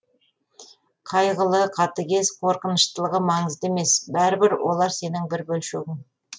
қайғылы қатыгез қорқыныштылығы маңызды емес бәрібір олар сенің бір бөлшегің